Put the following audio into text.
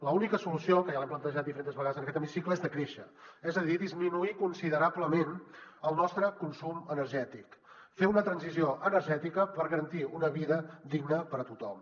l’única solució que ja l’hem plantejat diferents vegades en aquest hemicicle és decréixer és a dir disminuir considerablement el nostre consum energètic fer una transició energètica per garantir una vida digna per a tothom